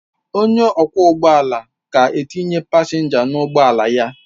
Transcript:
Onye ọkwọ ụgbọ ala ka na-etinye pasenja n'ụgbọ ala ya